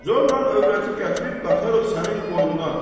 Zorlan övrəti gətirib qataraq sənin qoynuna.